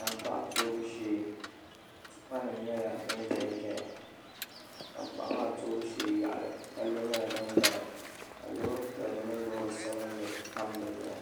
tankpaɣu tuubu shee tipanima nyɛla din ʒe n-ʒiya tankpaɣu maa tuubu sheee yaɣili palli nyɛla din gari ka loori piɛlli mini loori sabinli tam di zuɣu